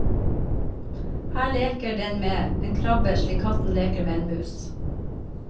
Her leker den med en krabbe slik katten leker med en mus.